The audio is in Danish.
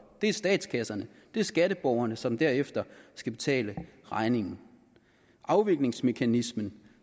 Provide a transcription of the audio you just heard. det er statskasserne det er skatteborgerne som derefter skal betale regningen afviklingsmekanismen